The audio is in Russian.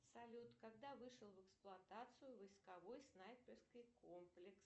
салют когда вышел в эксплуатацию войсковой снайперский комплекс